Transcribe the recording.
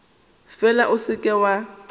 fela o se ke wa